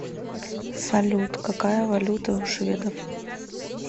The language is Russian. салют какая валюта у шведов